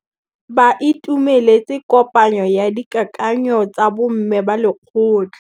Ba itumeletse kôpanyo ya dikakanyô tsa bo mme ba lekgotla.